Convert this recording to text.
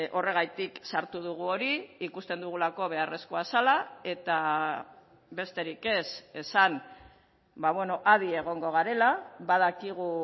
horregatik sartu dugu hori ikusten dugulako beharrezkoa zela eta besterik ez esan adi egongo garela badakigu